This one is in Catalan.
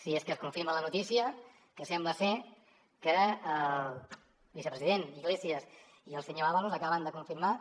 si és que es confirma la notícia que sembla ser que el vicepresident iglesias i el senyor ábalos acaben de confirmar